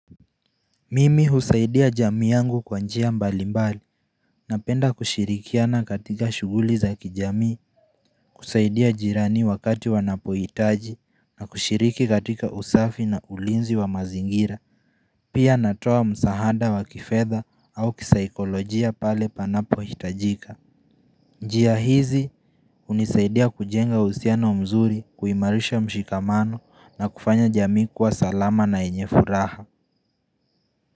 Mimi husaidia jamii yangu kwa njia mbali mbali napenda kushirikiana katika shughuli za kijamii, kusaidia jirani wakati wanapojitaji na kushiriki katika usafi na ulinzi wa mazingira, pia natoa msaada wa kifedha au kisaikolojia pale panapo hitajika. Njia hizi hunisaidia kujenga uhusiano mzuri, kuimarisha mshikamano na kufanya jamii kuwa salama na yenye furaha.